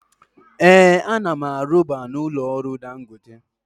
Ee, ana m arubu na ụlọ ọrụ Dangote.